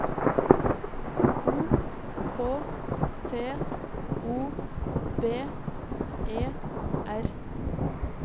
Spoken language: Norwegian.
O K T O B E R